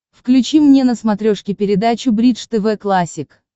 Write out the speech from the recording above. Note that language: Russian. включи мне на смотрешке передачу бридж тв классик